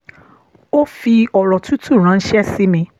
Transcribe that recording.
ó fi ọ̀rọ̀ tútù ránṣẹ́ sí mi